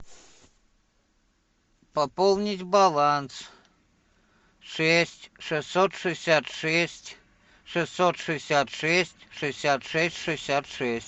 пополнить баланс шесть шестьсот шестьдесят шесть шестьсот шестьдесят шесть шестьдесят шесть шестьдесят шесть